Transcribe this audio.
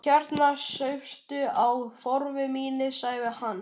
Hérna, súptu á, Þórður minn sagði hann.